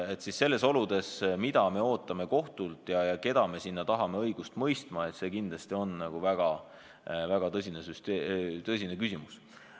Mida me nendes oludes ootame kohtult ja keda me tahame sinna õigust mõistma, see on kindlasti väga tõsine küsimus.